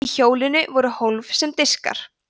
í hjólinu voru hólf sem diskar